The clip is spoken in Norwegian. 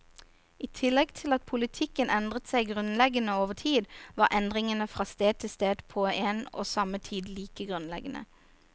I tillegg til at politikken endret seg grunnleggende over tid, var endringene fra sted til sted på en og samme tid like grunnleggende.